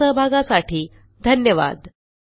आपल्या सहभागासाठी धन्यवाद